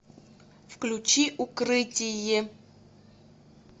включи укрытие